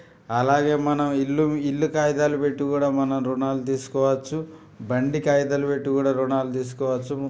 అలాగే మనం ఇల్లు ఇల్లు కాగితాలు పెట్టి కూడా మనం ఋణాలు తీసుకోవచ్చు బండి కాగితాలు పెట్టి కూడా ఋణాలు తీసుకోవచ్చు.